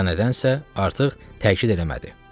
Ya nədənsə artıq təkid eləmədi.